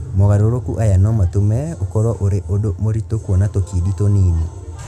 Mogarũrũku aya no matũme ũkorũo ũrĩ ũndũ mũritũ kũona tũkindi tũnini.